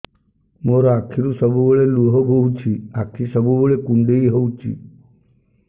ମୋର ଆଖିରୁ ସବୁବେଳେ ଲୁହ ବୋହୁଛି ଆଖି ସବୁବେଳେ କୁଣ୍ଡେଇ ହଉଚି